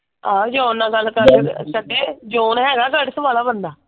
ਆਹੋ ਜੋਨ ਨਾਲ ਗੱਲ ਕਰ ਲਵੇ ਸਕੇ ਜੋਨ ਹੈਗਾ ,